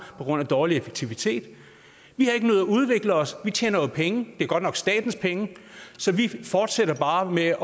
på grund af dårlig effektivitet vi har ikke nødig at udvikle os vi tjener jo penge det er godt nok statens penge så vi fortsætter bare med